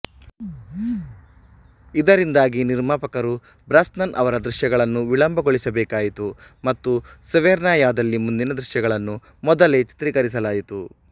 ಇದರಿಂದಾಗಿ ನಿರ್ಮಾಪಕರು ಬ್ರಾಸ್ನನ್ ಅವರ ದೃಶ್ಯಗಳನ್ನು ವಿಳಂಬಗೊಳಿಸಬೇಕಾಯಿತು ಮತ್ತು ಸೆವೆರ್ನಯಾದಲ್ಲಿ ಮುಂದಿನ ದೃಶ್ಯಗಳನ್ನು ಮೊದಲೇ ಚಿತ್ರೀಕರಿಸಲಾಯಿತು